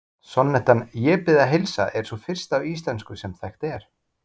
Sonnettan Ég bið að heilsa er sú fyrsta á íslensku sem þekkt er.